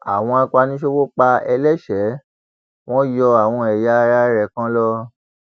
àwọn apaniṣòwò pa eléeṣẹ wọn yọ àwọn ẹyà ara rẹ kan lọ